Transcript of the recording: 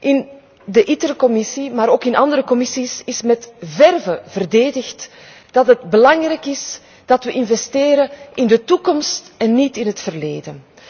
In de Commissie ITRE, maar ook in andere commissies is met verve verdedigd dat het belangrijk is dat we investeren in de toekomst en niet in het verleden.